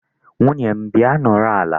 Nwunye m, bịa nọrọ ala.